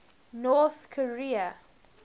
north korea